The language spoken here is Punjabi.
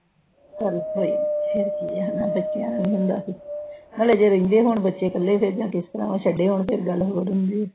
ਫਿਰ ਕੀ ਆ ਬੱਚਿਆ ਦਾ ਹੁੰਦਾ। ਮਤਲਬ ਜੇ ਰਹਿੰਦੇ ਹੋਣ ਬੱਚੇ ਕੱਲੇ, ਫਿਰ ਜਾ ਕੇ ਛੁੱਡੇ ਹੋਣ, ਫਿਰ ਗੱਲ ਹੋਰ ਹੁੰਦੀ ਆ।